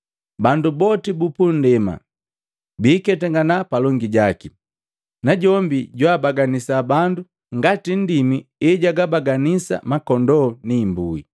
Bandu boti bupundema biiketangana palongi jaki, najombi jwaabaganisa bandu ngati nndimi ejagabaganisa makondoo ni imbui.